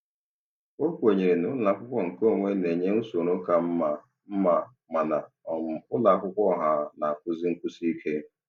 O kwenyere na ụlọakwụkwọ nke onwe na-enye usoro ka mma, mma, mana um ụlọakwụkwọ ọha na-akụzi nkwụsị ike.